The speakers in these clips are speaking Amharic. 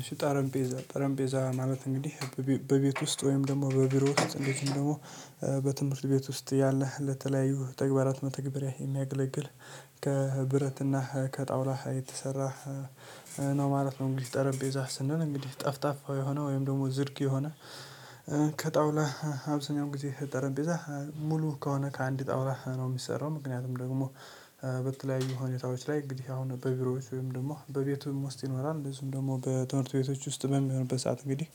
እሺ ጠረንጴዛ ጠረንጴዛ ማለት እንግዲህ በቤ በቤት ውስጥ ወይም ደግሞ በቢሮ ውስጥ እንደዚህም ደግሞ በትምህርት ቤት ውስጥ ያለህ ለተለያዩ ተግባራት መተግበሪያ የሚያገለግል ከብረትና ከጣውላ የተሰራ ነው ማለት ነው። እንግዲህ ጠረጴዛ ስንል እንግዲህ ጠፍጣፋ የሆነው ወይም ደግሞ ዝርግ የሆነ ከጣውላ አብዛኛውን ጊዜ ጠረንጴዛ ሙሉ ከሆነ ከአንድ ጣውላ ነው የሚሰራው። ምክንያቱም ደግሞ በተለያዩ ሁኔታዎች ላይ እንግዲህ አሁን በቢሮዎች ወይም ደግሞ በቤቱም ውስጥ ይኖራል ብዙም ደግሞ በትምህርት ቤቶች ውስጥ በሚሆንበት ሰዓት እንግዲህ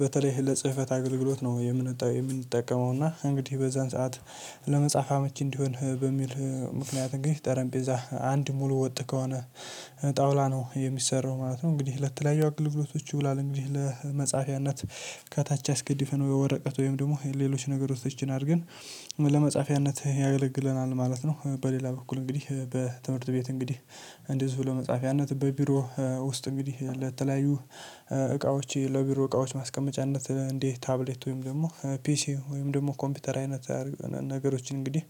በተለይ ለጽህፈት አገልግሎት ነው የምንጠ የምንጠቀመው። እና እንግዲህ በዛን ሰዓት ለመጽሐፍ አመች እንዲሆን በሚል ምክንያት እንግዲህ ጠረንጴዛ አንድ ሙሉ ወጥ ከሆነ ጣውላ ነው የሚሰራው ማለት ነው። እንግዲህ ለተለያዩ አገልግሎቶቹ ይውላል እንግዲህ ለመጻፊያነት ከታች አስገድፈን ወረቀት ወይም ደግሞ ሌሎች ነገሮችን አድርገን ለመጻፊያነት ያገለግለናል ማለት ነው። በሌላ በኩል እንግዲህ በትምህርት ቤት እንግዲህ እንደዚሁ ለመጻፊያነት በቢሮ ውስጥ እንግዲህ ለተለያዩ እቃዎች ለቢሮ እቃዎች ማስቀመጫነት እንደ ታብሌት ወይም ደግሞ ፒሲ ወይም ደግሞ ኮምፒውተር አይነት አርገ ነገሮችን እንግዲህ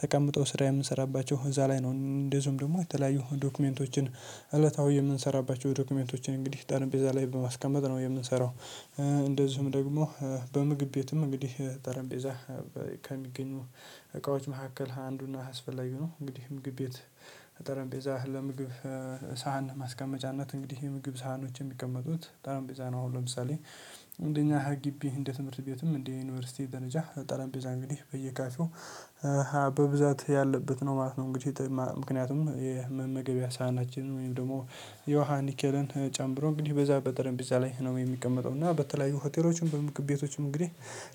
ተቀምጠው ስራ የምንሰራባቸው እዛ ላይ ነው። እንደዚሁም ደግሞ የተለያዩ ዶክመንቶችን እለታዊ የምንሰራባቸው ዶክመንቶችን እንግዲህ ጠረጴዛ ላይ በማስቀመጥ ነው የምንሰራው። እንደዚሁም ደግሞ በምግብ ቤትም እንግዲህ ጠረንጴዛ ከሚገኙ እቃዎች መካከል አንዱ እና አስፈላጊ ነው እንግዲህ ምግብ ቤት ጠረንጴዛ ለምግብ ሳህን ማስቀመጫነት እንግዲህ የምግብ ሳህኖች የሚቀመጡት ጠረንጴዛ ነው። አሁን ለምሳሌ እንደኛ ግቢ እንደ ትምህርት ቤትም እንደ ዩኒቨርሲቲ ደረጃ ጠረንቤዛ እንግዲህ በየካፌው ሀብ በብዛት ያለበት ነው ማለት ነው። እንግዲህ ጥማ ምክንያቱም የመመገቢያ ሳህናችን ወይም ደግሞ የውሃ ንኬልን ጨምሮ እንግዲህ በዛ በጠረጴዛ ላይ ነው የሚቀመጠው። እና በተለያዩ ሆቴሎችም በምግብ ቤቶችም እንግዲህ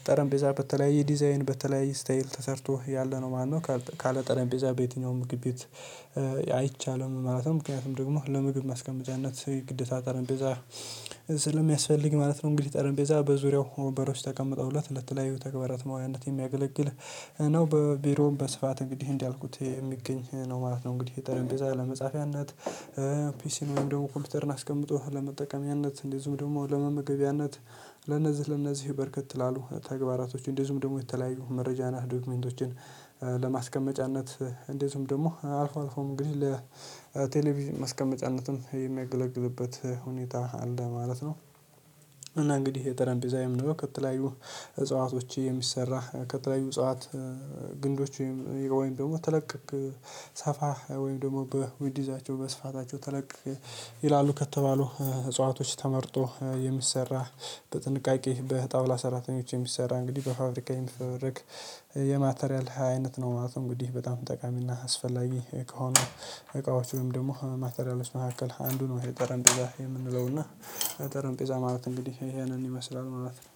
ጠረንቤዛ በተለያየ ዲዛይን በተለያየ ስታይል ተሰርቶ ያለ ነው ማለት ነው። ካርት ካለ ጠረጴዛ በየትኛውም ምግብ ቤት አይቼ ማለትም ምክንያቱም ደግሞ ለምግብ ማስቀመጫነት ግዴታ ጠረንጴዛ ስለ ሚያስፈልግ ማለት ነው። እንግዲህ ጠረንጴዛ በዙሪያው ወንበሮች ተቀምጠውለት ለተለያዩ ተግባራት መዋያነት የሚያገለግል ነው በቢሮውም በስፋት እንግዲህ እንዳልኩት የሚገኝ ነው ማለት ነው። እንግዲህ ጠረጴዛ ለመጻፊያነት ፒሲን ወይም ደግሞ ኮምፒውተርን አስቀምጦ ለመጠቀሚያነት እንደዚሁም ደግሞ ለመመገቢያነት ለነዚህ ለነዚህ በርከት ላሉ ተግባራቶች እንደዚሁም ደግሞ የተለያዩ መረጃ ነክ ዶክመንቶችን ለማስቀመጫነት እንደዚሁም ደግሞ አልፎ አልፎም እንግዲህ ለቴሌቪዥን ማስቀመጫነትም የሚያገለግልበት ሁኔታ አለ ማለት ነው። እና እንግዲህ የጠረንጴዛ የምንለው ከተለያዩ እጽዋቶች የሚሰራ ከተለያዩ እጽዋት ግንዶች ወይም ወይም ደግሞ ተለቅ ቅቅ ሰፋ ወይም ደግሞ በዊድዛቸው በስፋታቸው ተለቅ ይላሉ ከተባሉ እጽዋቶች ተመርጦ የሚሰራ በጥንቃቄ በጣውላ ሰራተኞች የሚሰራ እንግዲህ በፋብሪካ የሚፈበረክ የማቴሪያል አይነት ነው ማለት ነው። እንግዲህ በጣም ጠቃሚና አስፈላጊ ከሆኑ እቃዎች ወይም ደግሞ ማቴሪያሎች መካከል አንዱ ነው። ይሄ ጠረንጴዛ የምንለው እና ጠረንጴዛ ማለት እንግዲህ ይሄንን ይመስላል ማለት ነው።